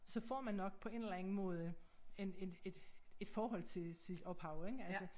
Så får man nok på en eller anden måde en et et et forhold til sit ophav ik altså